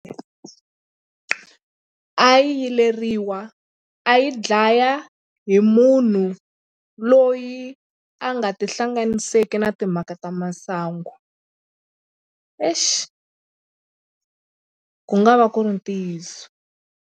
A yi yileriwa a yi dlaya hi munhu loyi a nga tihlanganiseki na timhaka ta masangu exi ku nga va ku ri ntiyiso.